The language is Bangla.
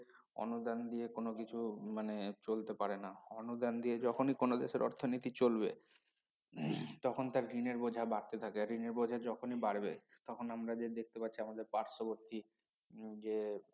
অনুদান দিয়ে কোনো কিছু মানে চলতে পারে না অনুদান দিয়ে যখনই কোনো দেশের অর্থনীতি চলবে তখন তার ঋণের বোঝা বাড়তে থাকে আর ঋণের বোঝা যখনই বাড়বে তখন আমরা যে দেখতে পারছি আমাদের পার্শবর্তী হম যে